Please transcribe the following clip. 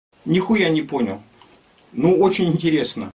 нехуя не понял но очень интересно